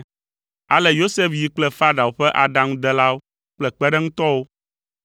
Ale Yosef yi kple Farao ƒe aɖaŋudelawo kple kpeɖeŋutɔwo